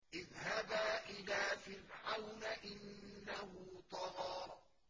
اذْهَبَا إِلَىٰ فِرْعَوْنَ إِنَّهُ طَغَىٰ